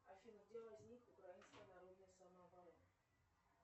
афина где возник украинская народная самооборона